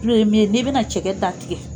Tulu ye min ye nin bɛna cɛgɛ ta tigɛ